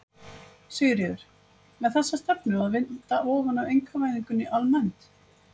Sigríður: Með þessa stefnu að vinda ofan af einkavæðingunni almennt?